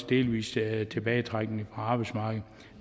delvis tilbagetrækning fra arbejdsmarkedet